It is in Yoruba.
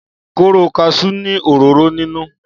kóró kaṣú ni òróró ninu